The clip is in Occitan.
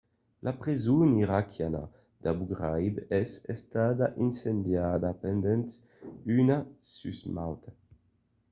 la preson iraquiana d’abu ghraib es estada incendiada pendent una susmauta